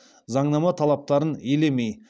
заңнама талаптарын елемей